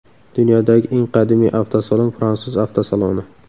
Dunyodagi eng qadimiy avtosalon fransuz avtosaloni.